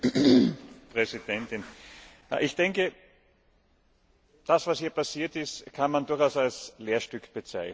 Frau Präsidentin! Ich denke, das was hier passiert ist, kann man durchaus als Lehrstück bezeichnen.